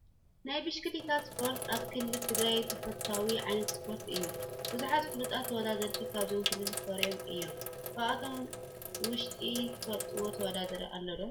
ናይ ብሽክሌታ ስፖርቲ ኣብ ክልል ትግራይ ተፈታዊ ዓይነት ስፖርቲ እዩ፡፡ ብዙሓት ፍሉጣት ተወዳዳርቲ ካብዚ ክልል ፈርዮም እዮም፡፡ ካብኣቶም ውሽጢ ትፈልጥዎ ተወዳዳሪ ኣሎ ዶ?